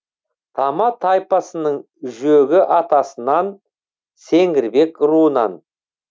тама тайпасының жөгі атасынан сеңгірбек руынан